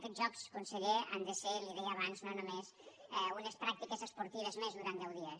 aquests jocs conseller han de ser li ho deia abans no només unes pràctiques esportives més durant deu dies